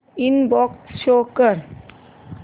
inbox show कर